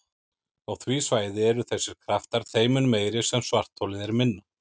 Á því svæði eru þessir kraftar þeim mun meiri sem svartholið er minna.